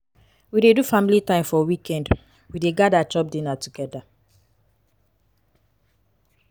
we dey do family time for weekend we dey gada chop dinner togeda.